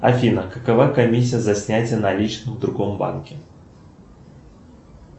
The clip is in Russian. афина какова комиссия за снятие наличных в другом банке